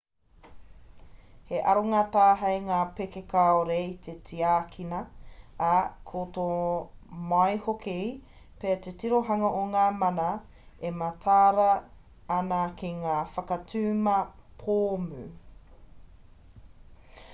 he aronga tāhei ngā pēke kāore i te tiakina ā ka tō mai hoki pea te tirohanga o ngā mana e mataara ana ki ngā whakatuma pōmu